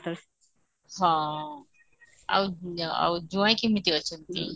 ହଁ ଆଉ ଜୁଆଇଁ କେମିତି ଅଛିନ୍ତି?